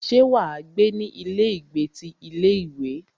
Ṣé wà á gbé ní ilé ìgbé ti ilé ìwé?